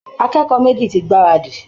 Akẹ́kọ̀ọ́ méjì ti gbáradì